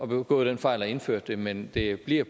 begået den fejl at indføre det men det bliver